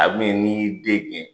A bɛna n'i y'i den gɛn,